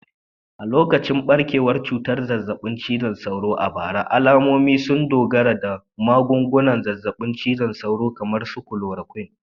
A lokacin barkewar cutar zazzabin cizon sauro a bara, al'ummomi sun dogara da magungunan zazzabin cizon sauro kamar chloroquine